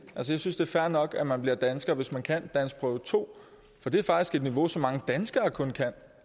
synes det er fair nok at man bliver dansker hvis man kan danskprøve to for det er faktisk et niveau som mange danskere kun kan